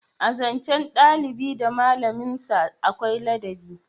A zancen dalibi da malamin sa akwai ladabi